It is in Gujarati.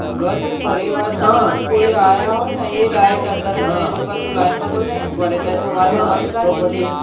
ઘર કે પરિવાર માં થી કોઈ આયા હોય ને એ direct અંદર જ જયા એ લોકો લાઈન માં તો નહીં ઉભા રેહતા એ તો વાત તમારી સાચી જ છે